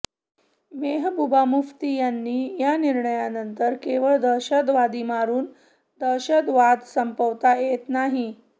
मेहबुबा मुफ्ती यांनी या निर्णयानंतर केवळ दहशतवादी मारून दहशतवाद संपवता येत नाही